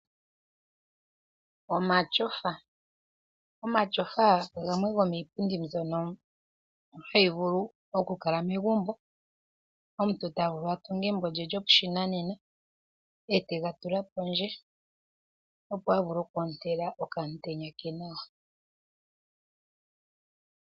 Omatyofa. Omatyofa gamwe gomiipundi mbyono hayi vulu okukala megumbo. Omuntu ota vulu a tunge egumbo lye lyopashinanena etega tula pondje opo a vule okwoontela okamutenya ke nawa.